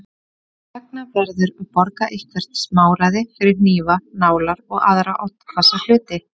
Þess vegna verður að borga eitthvert smáræði fyrir hnífa, nálar og aðra oddhvassa hluti.